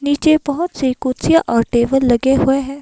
नीचे बहोत सी कुर्सियां और टेबल लगे हुए हैं।